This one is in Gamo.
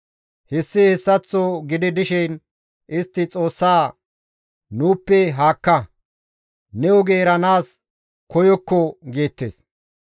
«Hessi hessaththo gidi dishin istti Xoossa, ‹Nuuppe haakka; ne oge eranaas nu koyokkon› geettes.